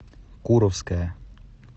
куровское